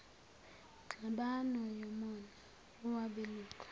ngxabano yomona wabelungu